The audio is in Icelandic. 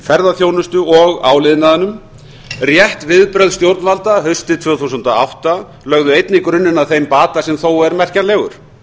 ferðaþjónustu og áliðnaðinum rétt viðbrögð stjórnvalda haustið tvö þúsund og átta lögðu einnig grunninn að þeim bata sem þó er merkjanlegur